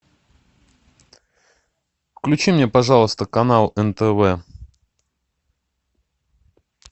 включи мне пожалуйста канал нтв